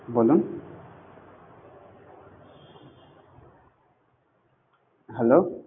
বলুন হ্যালো?